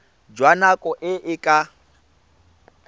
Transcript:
jwa nako e e ka